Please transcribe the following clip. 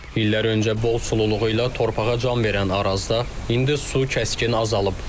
İllər öncə bol sululuğu ilə torpağa can verən Arazda indi su kəskin azalıb.